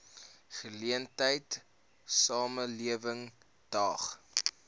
geleentheid samelewing daag